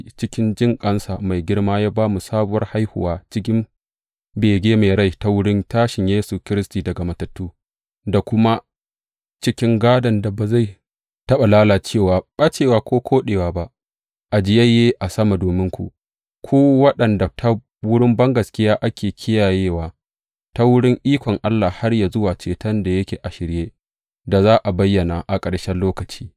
Cikin jinƙansa mai girma ya ba mu sabuwar haihuwa cikin bege mai rai ta wurin tashin Yesu Kiristi daga matattu, da kuma cikin gādon da ba zai taɓa lalacewa, ɓacewa ko koɗewa ba, ajiyayye a sama dominku, ku waɗanda ta wurin bangaskiya ake kiyayewa ta wurin ikon Allah har yă zuwa ceton da yake a shirye da za a bayyana a ƙarshen lokaci.